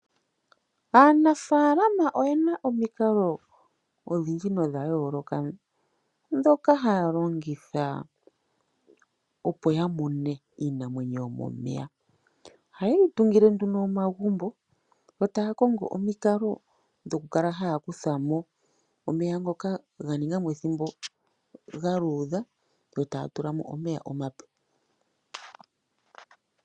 Aanafaalama oye na omikalo odhindji nodha yooloka ndhoka haya longitha opo ya mune iinamwenyo yomomeya. Ohaye yi tungile nduno omagumbo, yo taya kongo omikalo dhokukala haya kutha mo omeya ngoka ga ninga mo ethimbo ga luudha yo taya tula mo omeya omape.